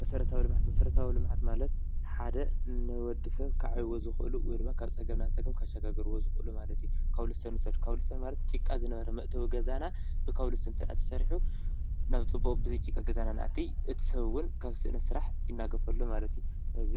መሰረታዊ ልምዓት፦ መሰረታዊ ልምዓት ማለት ሓደ ንወዲ ሰብ ከዕብይዎ ዝክእሉ ወይድማ ካብ ፀገም ናብ ፀገም ከሸጋግርዎ ዝክእሉ ማለት እዩ፤ ከዉልስቶን ንዉሰድ ከዉልስቶን ማለት ጭቃ ዝነበረ መእትዊ ገዛና ብከዉልስቶን እንተድኣተሰሪሑ ናብ ፅቡቅ ብዘይጭቃ ናብ ገዛና ነኣቲ እቲ ሰብ ዉን ካብ ስእነት ስራሕ ይናገፍ ኣሎ ማለት እዩ። ሕዚ